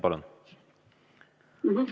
Palun!